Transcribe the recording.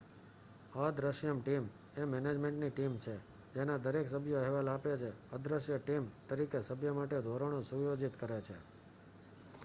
"""અદ્રશ્ય ટીમ" એ management team છે જેના દરેક સભ્યો અહેવાલ આપે છે. અદ્રશ્ય ટીમ દરેક સભ્ય માટે ધોરણો સુયોજિત કરે છે.